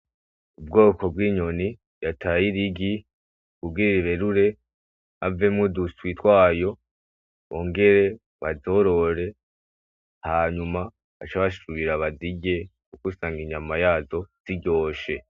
Ubwoko bw'inyoni yataye irigi kugira iberure havemwo uduswi twayo, bongere bazorore hanyuma bace basubira bazirye, kuko usanga inyama yazo ziryoshe.